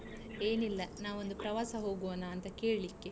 ಏನಿಲ್ಲಾ ನಾವು ಒಂದು ಪ್ರವಾಸ ಹೋಗುವನಾ ಅಂತ ಕೇಳ್ಲಿಕೆ?